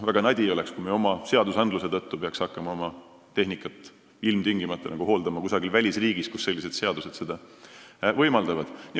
Väga nadi oleks, kui me oma seadusandluse tõttu peaks hakkama oma tehnikat ilmtingimata hooldama kusagil välisriigis, kus seadused seda võimaldavad.